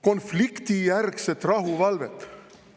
Konfliktijärgset rahuvalvet.